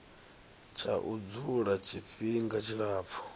tsha u dzula tshifhinga tshilapfu